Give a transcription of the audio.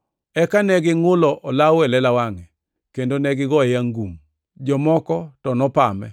Eka ne gingʼulo olawo e lela wangʼe, kendo negigoye ngum. Jomoko to nopame,